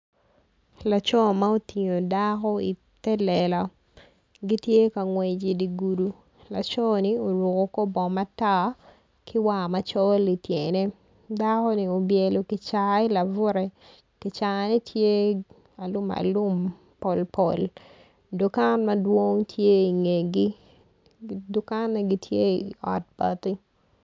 Laco ma otingo dako i te lela gitye ka ngwec i dye gudo laconi oruko kor bongo matar ki war macol i tyene dakoni obyelo kica i labute kicane tye alumalum polpol dukan madwong tye i ngegi dukanne gityei ot bati.